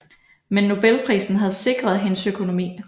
Men Nobelprisen havde sikret hendes økonomi